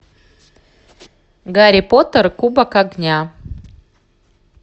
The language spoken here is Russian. гарри поттер кубок огня